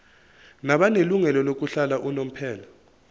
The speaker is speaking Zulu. nabanelungelo lokuhlala unomphela